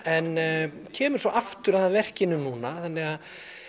en kemur svo aftur að verkinu núna þannig